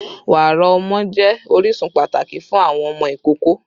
Wara ọmọ jẹ orisun pataki ti fun awọn ọmọ ikoko